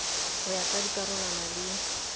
ho ya ka dikarolwana le